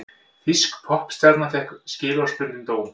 Þýsk poppstjarna fékk skilorðsbundinn dóm